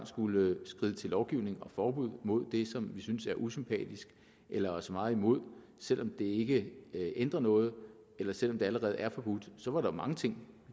skulle skride til lovgivning og forbud mod det som vi synes er usympatisk eller os meget imod selv om det ikke ændrer noget eller selv om det allerede er forbudt så var der mange ting